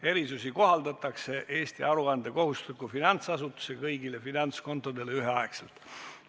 Erisusi kohaldatakse Eesti aruandekohustusliku finantsasutuse kõigile finantskontodele ühetaoliselt.